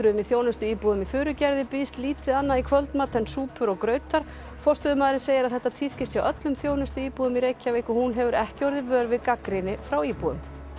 í þjónustuíbúðum í Furugerði býðst lítið annað í kvöldmat en súpur og grautar forstöðumaðurinn segir að þetta tíðkist hjá öllum þjónustuíbúðum í Reykjavík og hún hefur ekki orðið vör við gagnrýni frá íbúum